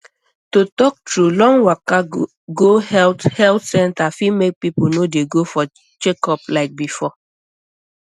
to talk true long waka go health health center fit make people no dey go for checkup like before